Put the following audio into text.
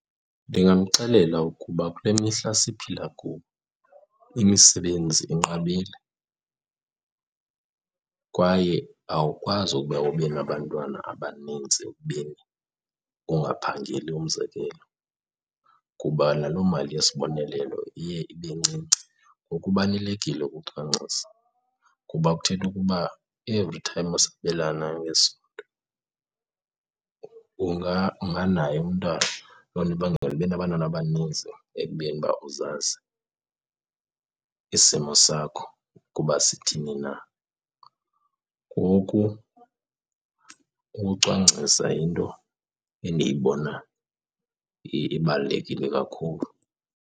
Ndingamxelela ukuba kule mihla siphila kuyo imisebenzi inqabile kwaye awukwazi ukuba ube nabantwana abanintsi ekubeni ungaphangeli umzekelo, kuba nalo mali yesibonelelo iye ibe ncinci. Ngoku kubalulekile ukucwangcisa kuba kuthetha ukuba every time usabelana ngesondo unganaye umntana. Loo nto ibangela ube nabantwana abaninzi ekubeni uba uzazi isimo sakho ukuba sithini na. Ngoku ukucwangcisa yinto endiyibona ibalulekile kakhulu.